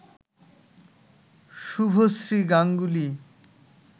Subhashree Ganguly